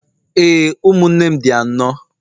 ee, ụmụnne m dị anọ.